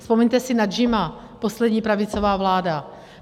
Vzpomeňte si na JIM, poslední pravicová vláda.